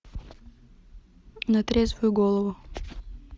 на трезвую голову